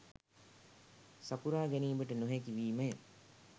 සපුරා ගැනීමට නොහැකි වීමය